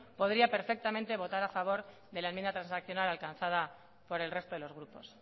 podría perfectamente votar a favor de la enmienda transaccional alcanzada por el resto de los grupos